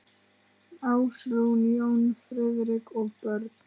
Ásrún, Jón Friðrik og börn.